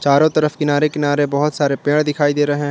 चारों तरफ किनारे किनारे बहुत सारे पेड़ दिखाई दे रहे हैं।